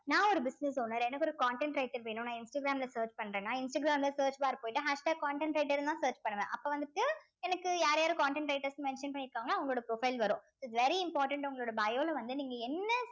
நான் ஒரு business owner எனக்கு ஒரு content writer வேணும் நான் இன்ஸ்டாகிராம்ல search பண்றேன்னா இன்ஸ்டாகிராம்ல search bar போயிட்டு hashtag content writer ன்னுதான் search பண்ணுவேன் அப்ப வந்துட்டு எனக்கு யார் யாரு content writers mention பண்ணி இருக்காங்களோ அவங்களோட profile வரும் it's very important உங்களோட bio ல வந்து நீங்க என்ன